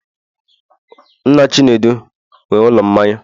nna chinedu nwe ụlọ mmanya